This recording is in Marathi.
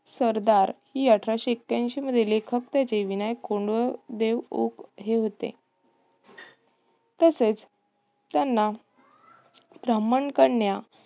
सरदार हि अठराशे एक्याऐंशी मध्ये लेखक त्याचे विनायक कोंडदेव ओक हे होते. तसेच त्यांना ब्राह्मण कन्या